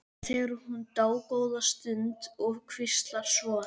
Hér þegir hún dágóða stund og hvíslar svo